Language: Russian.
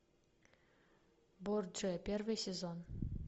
борджиа первый сезон